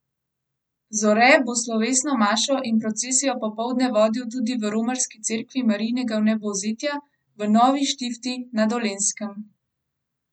Zore bo slovesno mašo in procesijo popoldne vodil tudi v romarski cerkvi Marijinega vnebovzetja v Novi Štifti na Dolenjskem.